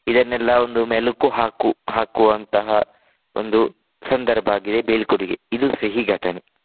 ಇದನ್ನೆಲ್ಲಾ ಒಂದು ಮೆಲುಕು ಹಾಕು ಹಾಕುವಂತಹ ಒಂದು ಸಂದರ್ಭ ಆಗಿದೆ ಬೀಳ್ಕೊಡುಗೆ. ಇದು ಸಿಹಿ ಘಟನೆ.